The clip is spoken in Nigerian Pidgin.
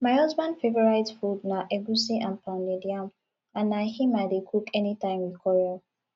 my husband favourite food na egwusi and pounded yam and na im i dey cook anytime we quarrel